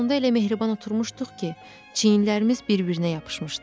Faytonda elə mehriban oturmuşduq ki, çiyinlərimiz bir-birinə yapışmışdı.